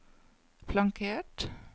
flankert